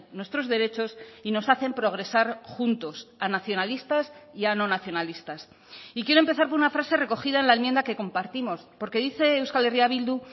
nuestros derechos y nos hacen progresar juntos a nacionalistas y a no nacionalistas y quiero empezar por una frase recogida en la enmienda que compartimos porque dice euskal herria bildu